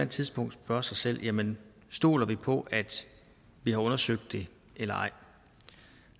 tidspunkt spørge sig selv jamen stoler vi på at vi har undersøgt det eller ej